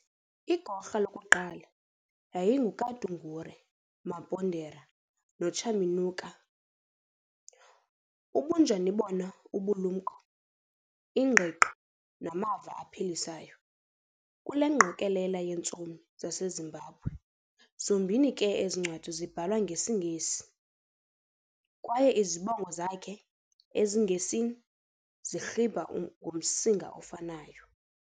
Igorha lokuqala yayinguKadungure Mapondera noChaminuka, obunjani bona ubulumko, ingqiqo namava aphilisayo, kule ngqokolela yeentsomi zaseZimbabwe, zombini ke ezincwadi zibhalwe ngesiNgesi, kwaye izibongo zakhe ezingeNgesi zirhiba ngomsinga ofanayo.